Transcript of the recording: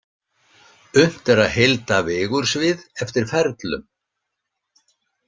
Unnt er að heilda vigursvið eftir ferlum.